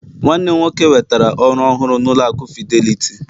nwannem nwoke nwetara oru ohuru na ụlọ aku fidelity